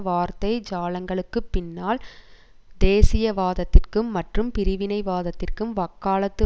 வார்த்தை ஜாலங்களுப் பின்னால் தேசியவாதத்திற்கும் மற்றும் பிரிவினைவாதத்திற்கும் வக்காலத்து